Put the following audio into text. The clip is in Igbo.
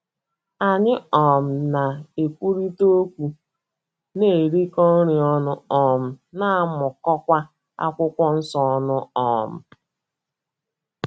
Anyị um na - ekwurịta okwu, na - erikọ nri ọnụ um, na - amụkọkwa akwụkwọ nsọ ọnụ. um